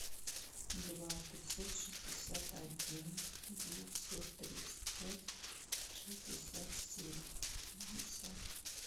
два пятьсот шестьдесят один девятьсот тридцать пять шестьдесят семь пятьдесят